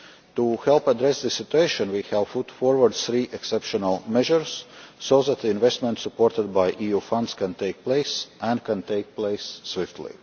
To help address this situation we have put forward three exceptional measures so that the investment supported by EU funds can take place, and take place swiftly.